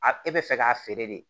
A e bɛ fɛ k'a feere de